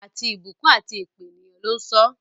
Àti ìbùkún àti èpè, ènìyàn ló ń sọ ọ́.